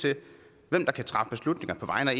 til hvem der kan træffe beslutninger på vegne af